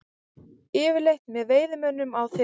Eftirlit með veiðimönnum á þyrlu